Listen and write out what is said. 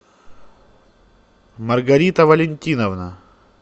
маргарита валентиновна